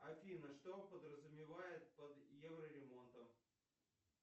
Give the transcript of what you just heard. афина что подразумевают под евроремонтом